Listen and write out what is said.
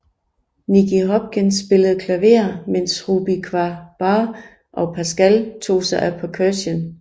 Nicky Hopkins spillede klaver mens Rebop Kwaku Baah og Pascal tog sig af perkussion